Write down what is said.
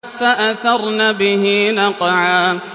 فَأَثَرْنَ بِهِ نَقْعًا